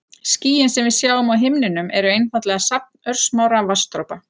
Skýin sem við sjáum á himninum eru einfaldlega safn örsmárra vatnsdropa.